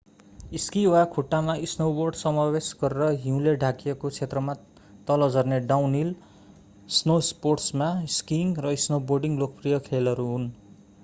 Ski वा खुट्टामा snowboard समावेश गरेर हिउँले ढाकिएको क्षेत्रमा तल झर्ने डाउनहिल स्नोस्पोर्ट्समा स्किङ र स्नोबोर्डिङ लोकप्रिय खेलहरू हुन्‌।